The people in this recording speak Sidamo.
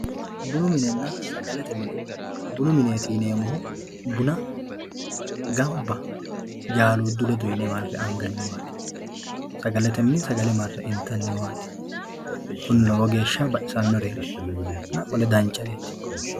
bunu minenna sagalete mini bunu mineeti yineemmohu buna ganba jaaluuddu ledo yine marre anganniwati sagalete mini sagale marre intanniwaati kuni lowo geeshsha baxisannoreetinna qole danchareeti